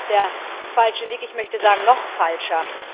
Auch das ist der falsche Weg, ich möchte sagen noch falscher.